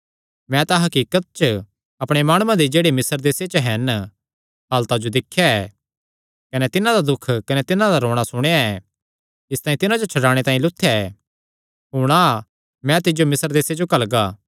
मैं तां हकीकत च अपणे माणुआं दी जेह्ड़े मिस्र देसे च हन हालता जो दिख्या ऐ कने तिन्हां दा दुख कने तिन्हां दा रोणा सुणेया ऐ इसतांई तिन्हां जो छड्डाणे तांई लुत्थेया ऐ हुण आ मैं तिज्जो मिस्र देसे च घल्लगा